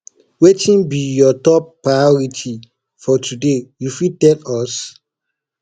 wetin be you top priority for today you fit tell us